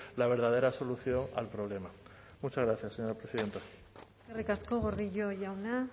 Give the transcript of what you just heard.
la verdadera solución al problema muchas gracias señora presidenta eskerrik asko gordillo jauna